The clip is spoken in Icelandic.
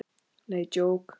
Nei, djók.